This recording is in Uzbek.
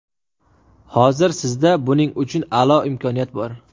Hozir sizda buning uchun a’lo imkoniyat bor.